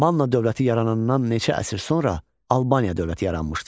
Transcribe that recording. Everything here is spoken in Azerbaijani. Manna dövləti yaranandan neçə əsr sonra Albaniya dövləti yaranmışdır?